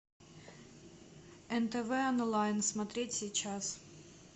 нтв онлайн смотреть сейчас